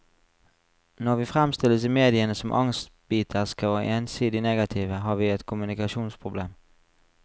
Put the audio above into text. Når vi fremstilles i mediene som angstbiterske og ensidig negative, har vi et kommunikasjonsproblem.